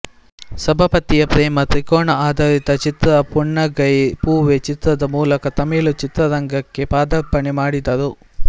ಸಬಪತಿಯ ಪ್ರೇಮ ತ್ರಿಕೋನ ಆಧಾರಿತ ಚಿತ್ರ ಪುನ್ನಗೈ ಪೂವೆ ಚಿತ್ರದ ಮೂಲಕ ತಮಿಳು ಚಿತ್ರರಂಗಕ್ಕೆ ಪಾದಾರ್ಪಣೆ ಮಾಡಿದರು